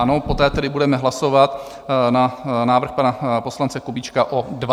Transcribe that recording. Ano, poté tedy budeme hlasovat na návrh pana poslance Kubíčka o 20 dnů.